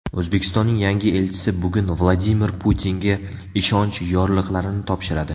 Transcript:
O‘zbekistonning yangi elchisi bugun Vladimir Putinga ishonch yorliqlarini topshiradi.